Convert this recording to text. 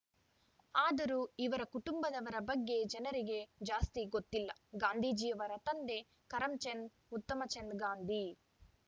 ಆದರೂ ಇವರ ಕುಟುಂಬದವರ ಬಗ್ಗೆ ಜನರಿಗೆ ಜಾಸ್ತಿ ಗೊತ್ತಿಲ್ಲ ಗಾಂಧೀಜಿಯವರ ತಂದೆ ಕರಂಚಂದ್‌ ಉತ್ತಮಚಂದ್‌ ಗಾಂಧಿ